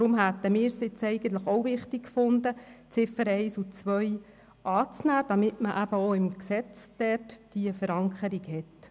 Wir hätten es für wichtig gehalten, diese auch im Gesetz zu verankern, weshalb wir die Ziffern 1 und 2 annehmen wollten.